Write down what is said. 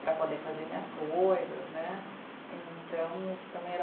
Para poder fazer minhas coisas, né. Então, o que também era